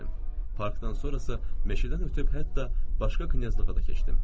Parkdan sonra isə meşədən ötüb hətta başqa knyazlığa da keçdim.